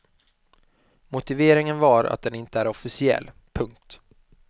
Motiveringen var att den inte är officiell. punkt